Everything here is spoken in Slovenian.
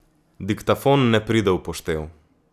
Diktafon ne pride v poštev.